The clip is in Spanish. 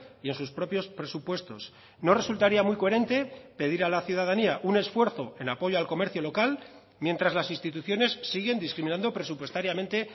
y en sus propios presupuestos no resultaría muy coherente pedir a la ciudadanía un esfuerzo en apoyo al comercio local mientras las instituciones siguen discriminando presupuestariamente